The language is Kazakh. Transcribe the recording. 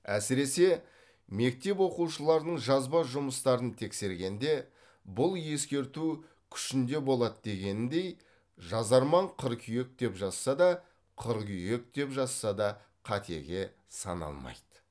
әсіресе мектеп оқушыларының жазба жұмыстарын тексергенде бұл ескерту күшінде болады дегеніндей жазарман қыркүйек деп жазса да қыргүйек деп жазса да қатеге саналмайды